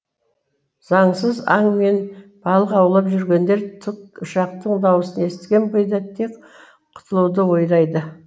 заңсыз аң мен балық аулап жүргендер тікұшақтың дауысын естіген бойда тек құтылуды ойлайды